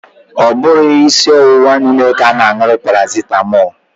Ọ bughị isi ọwụwa niile ka a na anwụrụ paracetamọọlụ